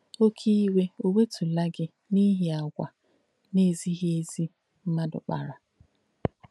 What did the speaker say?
Óké ìwe ò wètúlà gí n’íhi àgwà nà-èzíghī èzì mmadù kpàrà?